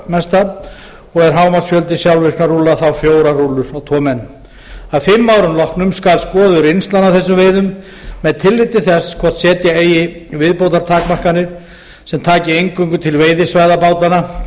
í áhöfn og er hámarksfjöldi sjálfvirkra rúlla þá fjórar rúllur á tvo menn að fimm árum loknum skal skoðuð reynslan af þessum veiðum með tilliti til þess hvort setja eigi viðbótartakmarkanir sem taki eingöngu til veiðisvæða bátanna